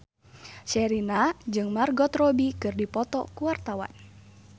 Sherina jeung Margot Robbie keur dipoto ku wartawan